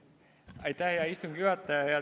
Aitäh, hea istungi juhataja!